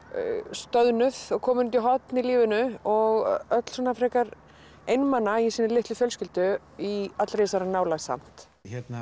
stöðnuð og komin út í horn í lífinu og öll frekar einmana í sinni litlu fjölskyldu í allri þessari nálægð samt